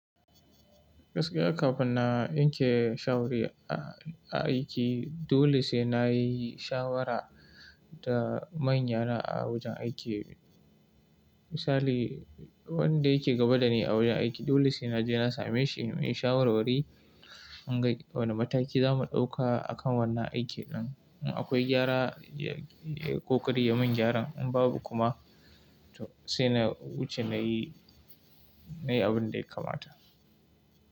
Gaskiya kafin na yanke shawari a aiki, dole sai na yi shawara da manyana a wajen aiki. Misali, wanda yake gaba dani a wajen aiki dole sai naje na same shi muyi shawarwari, mun ga wane mataki zamu ɗauka a kan wannan aiki ɗin. In akwai gyara, yayi kokari ya mun gyaran in babu kuma to sai na wuce nayi, nayi abun da ya kamata.